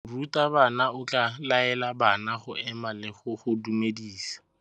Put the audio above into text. Morutabana o tla laela bana go ema le go go dumedisa.